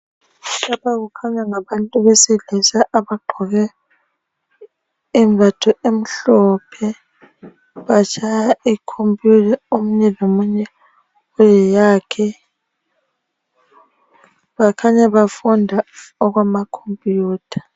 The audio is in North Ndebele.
Lapha kukhanya ngabantu besilisa abagqoke imbatho emhlophe batshaya ikhomputha, omunye lomunye eleyakhe. Bakhanya bafunda okwamakhomputha.